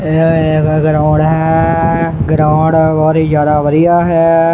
ਇਹ ਇੱਕ ਗਰਾਊਂਡ ਹੈ ਗਰਾਊਂਡ ਬਹੁਤ ਹੀ ਜਿਆਦਾ ਵਧੀਆ ਹੈ।